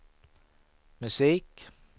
musik